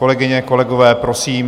Kolegyně, kolegové, prosím.